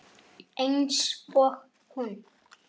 Einsog hún.